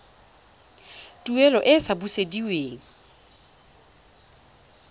tuelo e e sa busediweng